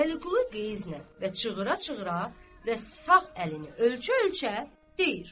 Vəliqulu qəzblə və çığıra-çığıra və sağ əlini ölçə-ölçə deyir.